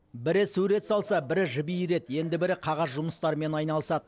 бірі сурет салса бірі жіп иіреді енді бірі қағаз жұмыстарымен айналысады